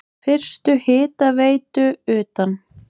Fyrstu hitaveitu utan